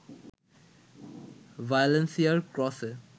ভ্যালেন্সিয়ার ক্রসে